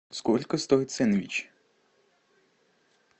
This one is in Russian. сколько стоит сэндвич